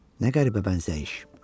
Nə qəribə bənzəyiş!